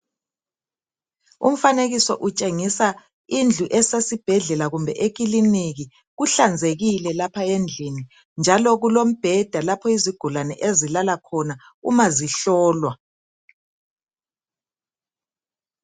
Umfanekiso utshengisa indlu esesibhedlela kumbe ekiliniki kuhlanzekile lapha endlini njalo kulombheda lapho izigulane ezilala khona umazihlolwa.